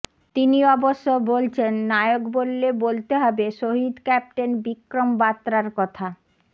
তিনি অবশ্য বলছেন নায়ক বললে বলতে হবে শহিদ ক্যাপ্টেন বিক্রম বাত্রার কথা